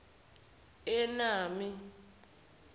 enami